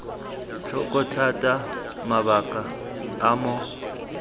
tlhoko thata mabaka a mo